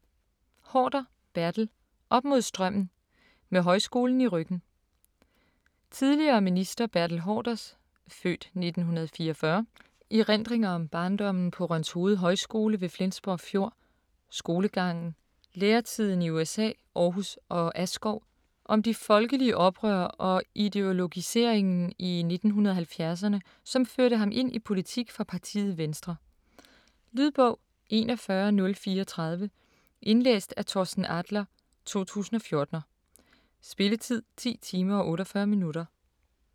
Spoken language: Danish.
Haarder, Bertel: Op mod strømmen: med højskolen i ryggen Tidligere minister Bertel Haarders (f. 1944) erindringer om barndommen på Rønshoved Højskole ved Flensborg Fjord, skolegangen, læretiden i USA, Aarhus og Askov, om de folkelige oprør og ideologiseringen i 1970'erne som førte ham ind i politik for partiet Venstre. Lydbog 41034 Indlæst af Torsten Adler, 2014. Spilletid: 10 timer, 48 minutter.